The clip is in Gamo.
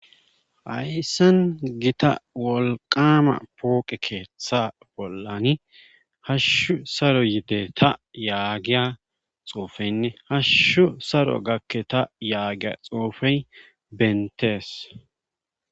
Hayssen gita wolqama pooqe keeththa bollani hashshu saro yide ta yaagiya xoofeynne hashshu saro gakke ta yaagiya xoofey bentees